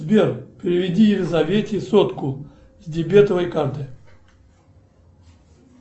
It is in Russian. сбер переведи елизавете сотку с дебетовой карты